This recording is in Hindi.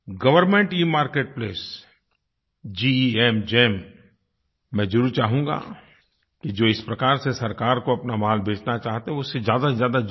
गवर्नमेंट इमार्केटप्लेस गेम मैं ज़रूर चाहूँगा कि जो इस प्रकार से सरकार को अपना माल बेचना चाहते हैं वो उससे ज़्यादा से ज़्यादा जुड़ें